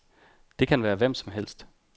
Det kan være hvem som helst.